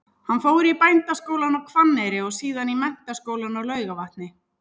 Hann fór í Bændaskólann á Hvanneyri og síðan í Menntaskólann á Laugarvatni.